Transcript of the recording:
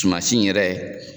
Tuma si in yɛrɛ